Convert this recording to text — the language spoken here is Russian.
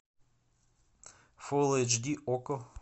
фул эйч ди окко